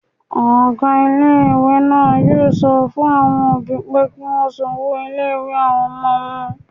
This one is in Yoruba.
Ọgá ilé-ìwé náà yóò sọ fún àwọn òbí pé kí wọ́n san owó ilé-ìwé àwọn ọmọ wọn